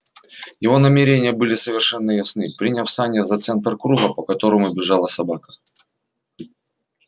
его намерения были совершенно ясны приняв сани за центр круга по которому бежала собака